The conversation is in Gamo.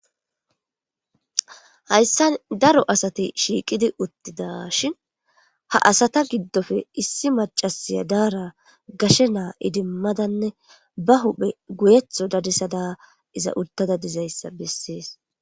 Hayssan daro asati shiiqidi uttida shin ha asata giddofe issi macasiya daara gashe naa idimmadanne ba huphe guyetho dadisada iza uttada dizayssa bessees.